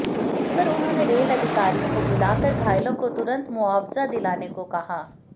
इस पर उन्होंने रेल अधिकारियों को बुलाकर घायलों को तुरंत मुआवजा दिलाने को कहा